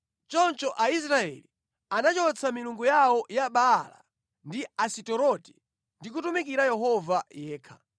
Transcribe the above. Choncho Aisraeli anachotsa milungu yawo ya Baala ndi Asitoreti ndi kutumikira Yehova yekha.